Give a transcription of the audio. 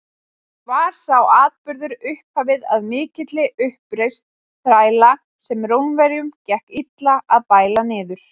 Var sá atburður upphafið að mikilli uppreisn þræla, sem Rómverjum gekk illa að bæla niður.